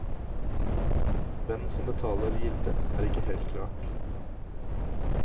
Hvem som betaler gildet, er ikke helt klart.